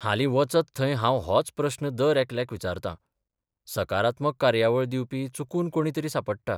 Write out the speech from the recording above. हालीं वचत थंय हांव होच प्रस्न दर एकल्याक विचारतां सकारात्मक कार्यावळ दिवपी चुकून कोणी तरी सांपडटा.